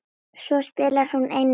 Svo spilar hún einnig golf.